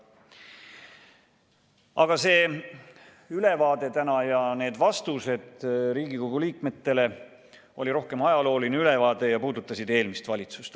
Aga see tänane ülevaade ja need vastused Riigikogu liikmetele olid rohkem ajalooline ülevaade ja puudutasid eelmist valitsust.